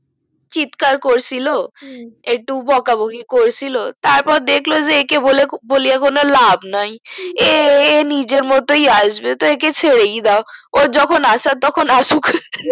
চিৎকার করছিলো হু একটু বকাবকি করেছিলো তারপর দেখলো যে একে বলে কোনো লাভ নাই এ নিজের মতোই আসবে তাই একে ছেড়েই দাও ওর যখন আসার তখন আসুক